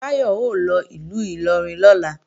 Táyọ̀ ó lọ ìlú Ìlọrin lọ́la